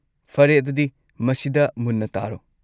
ꯐꯔꯦ ꯑꯗꯨꯗꯤ, ꯃꯁꯤꯗ ꯃꯨꯟꯅ ꯇꯥꯔꯣ!